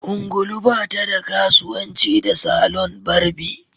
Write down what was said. ungulu ba ta da kasuwanci da salon barbi